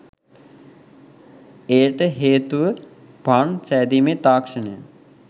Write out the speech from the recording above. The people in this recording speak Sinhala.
එයට හේතුව පාන් සෑදීමේ තාක්ෂණය